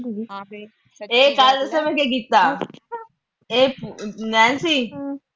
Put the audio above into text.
ਇਹ ਕੱਲ੍ਹ ਦੱਸਾ ਮੈਂ ਕੀ ਕੀਤਾ, ਇਹ ਨੈਨਸੀ।